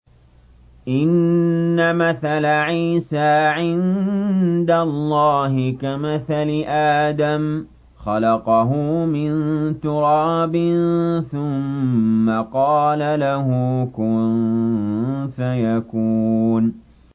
إِنَّ مَثَلَ عِيسَىٰ عِندَ اللَّهِ كَمَثَلِ آدَمَ ۖ خَلَقَهُ مِن تُرَابٍ ثُمَّ قَالَ لَهُ كُن فَيَكُونُ